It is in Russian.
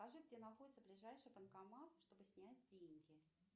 покажи где находится ближайший банкомат чтобы снять деньги